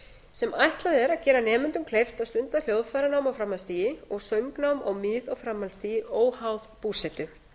sem ætlað er að gera nemendum kleift að stunda hljóðfæranám á framhaldsstigi og söngnám á mið og framhaldsstigi óháð búsetu